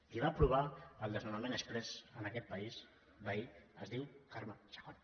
qui va aprovar el desnonament exprés en aquest país veí es diu carme chacón